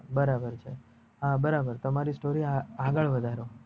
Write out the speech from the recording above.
બરાબર છે હા બરાબર તમારી story આગડ વધારો